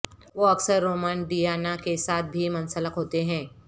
وہ اکثر Roman Diana کے ساتھ بھی منسلک ہوتے ہیں